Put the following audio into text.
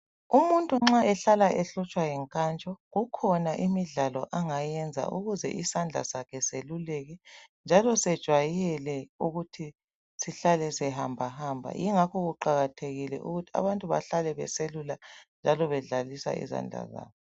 Umuntu nxa ehlala ehlutshwa yinkantsho kukhona imidlalo angayenza ukuze isandla sakhe seluleke njalo sejwayele ukuthi sihlale sihambahamba yingakho kuqakathekile ukuthi abantu bahlale beselula njalo bedlalisa izandla zabo.